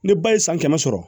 Ni ba ye san kɛmɛ sɔrɔ